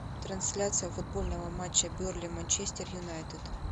трансляция футбольного матча бернли манчестер юнайтед